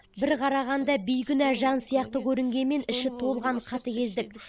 бір қарағанда бейкүнә жан сияқты көрінгенмен іші толған қатыгездік